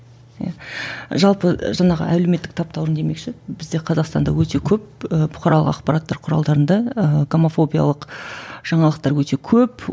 иә жалпы жаңағы әлеуметтік таптауырын демекші бізде қазақстанда өте көп ы бұқаралық ақпараттар құралдарында ыыы гомофобиялық жаңалықтар өте көп